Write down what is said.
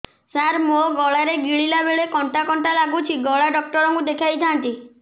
ସାର ମୋ ଗଳା ରେ ଗିଳିଲା ବେଲେ କଣ୍ଟା କଣ୍ଟା ଲାଗୁଛି ଗଳା ଡକ୍ଟର କୁ ଦେଖାଇ ଥାନ୍ତି